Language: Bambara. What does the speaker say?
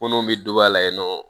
Munnu be don a la yen nɔ